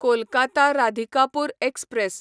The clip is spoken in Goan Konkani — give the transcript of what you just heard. कोलकाता राधिकापूर एक्सप्रॅस